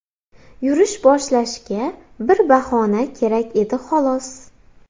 Yurish boshlashga bir bahona kerak edi xolos.